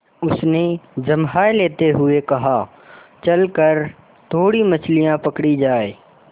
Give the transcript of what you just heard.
उसने जम्हाई लेते हुए कहा चल कर थोड़ी मछलियाँ पकड़ी जाएँ